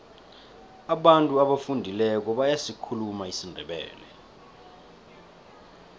abantu abafundileko bayasikhuluma isindebele